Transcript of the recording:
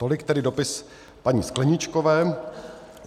Tolik tedy dopis paní Skleničkové.